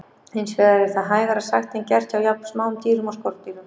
Hins vegar er það hægara sagt en gert hjá jafn smáum dýrum og skordýrum.